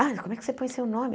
Ah, como é que você põe seu nome?